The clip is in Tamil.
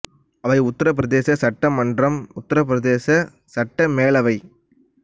அவை உத்தரப் பிரதேச சட்டமன்றம் உத்தரப் பிரதேச சட்ட மேலவை